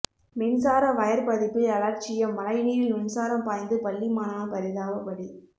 மின்சார வயர் பதிப்பில் அலட்சியம் மழைநீரில் மின்சாரம் பாய்ந்து பள்ளி மாணவன் பரிதாப பலி